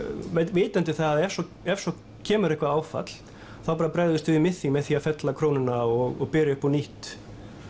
vitandi það að ef svo ef svo kemur eitthvað áfall þá bara bregðumst við við með því með því að fella krónuna og byrja upp á nýtt